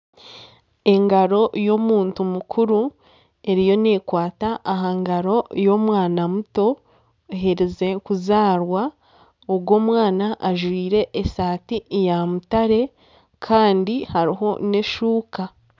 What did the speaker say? Engaro y'omuntu mukuru, eriyo neekwata aha ngaro y'omwana muto oherize kuzaarwa, ogwo omwana ajwire esaati ya mutaare kandi hariho n'eshuuka